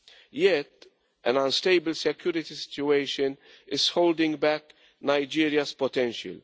Yet, an unstable security situation is holding back Nigeria's potential.